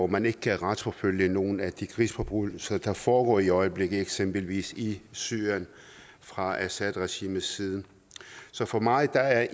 man ikke kan retsforfølge nogle af de krigsforbrydelser der foregår i øjeblikket eksempelvis i syrien fra assad regimets side så for mig er